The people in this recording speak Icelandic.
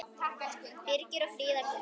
Birgir og Fríða Guðný.